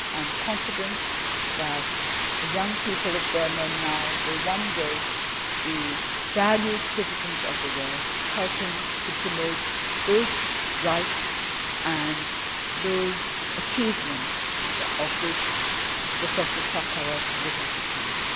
world. I am confident that the young people of Burma now will one day be valued citizens of the world, helping to promote those rights and those achievements of which Professor Sakharov would have approved.